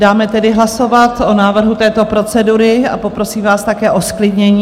Dáme tedy hlasovat o návrhu této procedury a poprosím vás také o zklidnění.